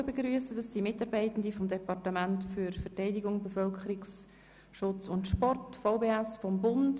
Es handelt sich um Mitarbeitende des Departements für Verteidigung, Bevölkerungsschutz und Sport (VBS).